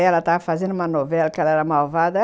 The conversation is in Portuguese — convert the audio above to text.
Ela estava fazendo uma novela, que ela era malvada.